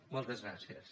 moltes gràcies